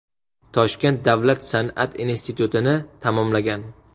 Toshkent davlat san’at institutini tamomlagan.